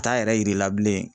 Taa yɛrɛ yiri la bilen.